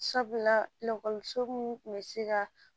Sabula lakɔliso min kun bɛ se ka